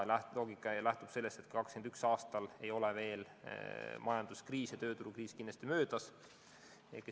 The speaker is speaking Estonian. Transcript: Loogika lähtub sellest, et 2021. aastal ei ole majanduskriis ja tööturukriis kindlasti möödas.